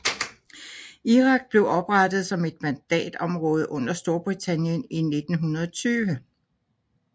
Irak blev oprettet som et mandatområde under Storbritannien i 1920